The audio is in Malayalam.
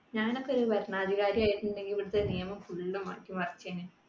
ഞാൻ ഒക്കെ ഒരു ഭരണാധികാരി ആയിട്ടുണ്ടെങ്കിൽ ഇവിടത്തെ നിയമം full മാറ്റിമറിച്ചേനെ